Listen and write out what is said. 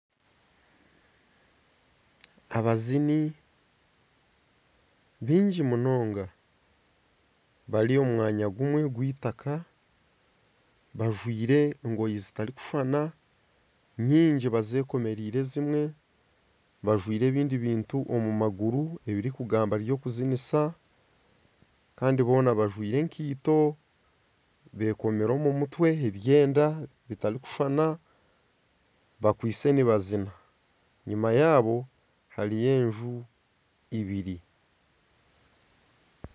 Abazini baingi munonga bari omu mwanya gumwe ogw'eitaka bajwaire engoyi zitarikushushana nyingi bazekomereire ezimwe bajwaire ebindi bintu omu maguru ebirikugamba ebyokuzinisa Kandi boona bajwaire enkaito bekomire omumutwe ebyenda bitarikushushana bakwaitse nibazina enyuma yaabo hariyo enju eibiri.